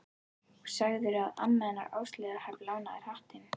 Og sagðirðu að amma hennar Áslaugar hafi lánað þér hattinn?